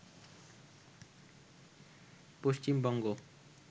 Paschimbanga